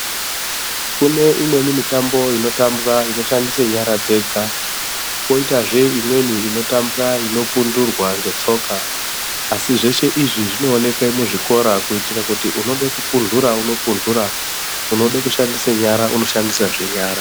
Kune mitambo imweni inotambwa inoshandise nyara dzega, kwoitazve imweni inotambwa inopunturwa ngetsoka, asi zveshe izvi zvinooneke muzvikora kuitire kuti, unode kupuntura wopuntura ,unode kushandisa nyara, unoshandisazve nyara.